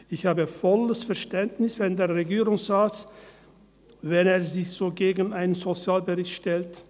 Ich habe volles Verständnis, wenn sich der Regierungsrat so gegen einen Sozialbericht stellt.